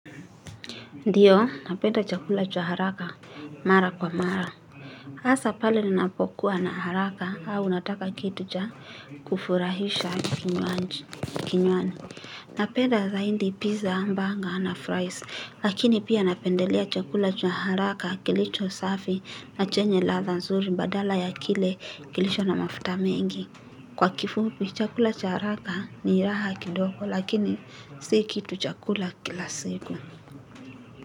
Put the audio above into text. Ndiyo, napenda chakula cha haraka mara kwa mara. Hasa pale ninapokuwa na haraka au nataka kitu cha kufurahisha kinywani. Napenda zaidi pizza hamburger na fries, lakini pia napendelea chakula cha haraka kilicho safi na chenye ladha nzuri badala ya kile kilicho na mafuta mengi. Kwa kifupi, chakula cha haraka ni raha kidogo lakini si kitu cha kula kila siku.